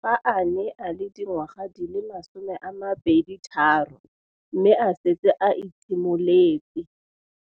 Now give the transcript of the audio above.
fa a ne a le dingwaga di le 23 mme a setse a itshimoletse